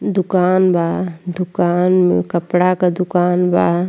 दुकान बा दुकान में कपडा क दुकान बा।